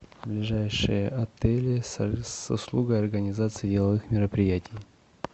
ближайшие отели с услугой организации деловых мероприятий